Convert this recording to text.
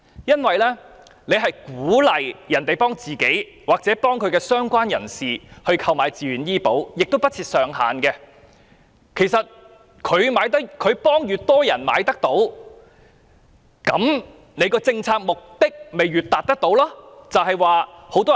政府鼓勵市民幫自己或相關人士投保，而且親屬數目不設上限，市民替越多受養人購買醫保，便越容易達到政府政策的目的。